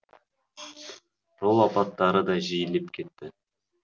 жол апаттары да жиілеп кетті